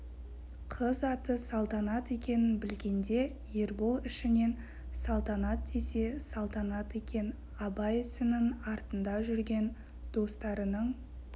қыз аты салтанат екенін білгенде ербол ішінен салтанат десе салтанат екен абай ісінің артында жүрген достарының